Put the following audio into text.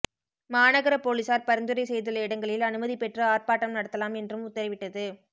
மாநகர போலீசார் பரிந்துரை செய்துள்ள இடங்களில் அனுமதி பெற்று ஆர்ப்பாட்டம் நடத்தலாம் என்றும் உத்தரவிட்டது